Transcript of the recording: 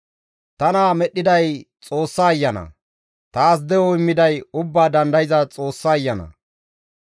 Tana medhdhiday Xoossa Ayana; taas de7o immiday Ubbaa Dandayza Xoossa Ayana.